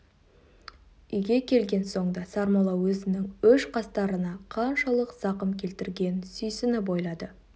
үйге келген соң да сармолла өзінің өш-қастарына қаншалық зақым келтіргенін сүйсініп ойлады